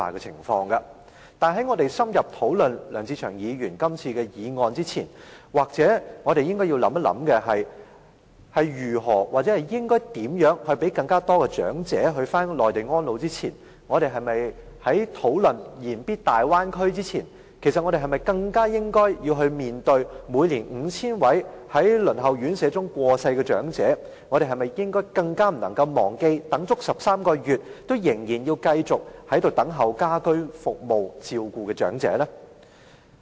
可是，在深入討論梁志祥議員今天這項議案前，也許我們應該想一想，在考慮讓更多長者返回內地安老前、在言必大灣區前，我們是否更應該面對每年 5,000 名在輪候院舍時過世的長者、更不應該忘記等待了13個月，卻仍然要繼續等候家居照顧服務的長者呢？